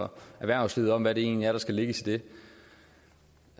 og erhvervslivet om hvad der egentlig skal lægges i det